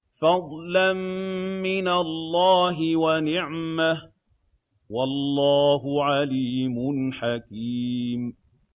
فَضْلًا مِّنَ اللَّهِ وَنِعْمَةً ۚ وَاللَّهُ عَلِيمٌ حَكِيمٌ